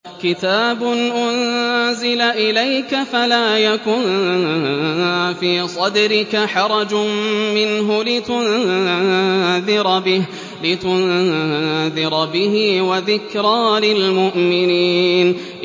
كِتَابٌ أُنزِلَ إِلَيْكَ فَلَا يَكُن فِي صَدْرِكَ حَرَجٌ مِّنْهُ لِتُنذِرَ بِهِ وَذِكْرَىٰ لِلْمُؤْمِنِينَ